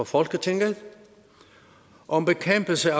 folketinget om bekæmpelse